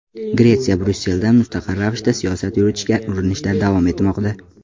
Gretsiya Bryusseldan mustaqil ravishda siyosat yuritishga urinishda davom etmoqda.